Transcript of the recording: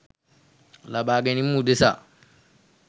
ලබාගැනීම උදෙසා